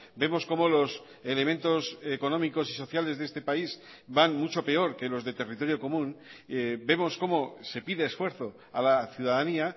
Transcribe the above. vemos como los elementos económicos y sociales de este país van mucho peor que los de territorio común vemos como se pide esfuerzo a la ciudadanía